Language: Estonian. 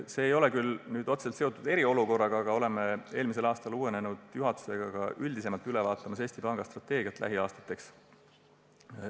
See ei ole küll otseselt eriolukorraga seotud, aga oleme oma eelmisel aastal uuenenud juhatusega hakanud üldisemalt üle vaatama Eesti Panga lähiaastate strateegiat.